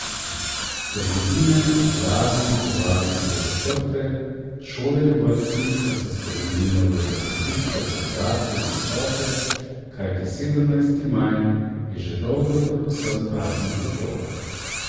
Trgovine, uradi in tovarne so zaprte, šole in vrtci pa se spremenijo v zabavišča za odrasle in otroke, kajti sedemnajsti maj je že dolgo predvsem praznik otrok.